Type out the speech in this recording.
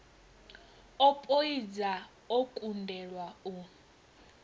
o poidza o kundelwa u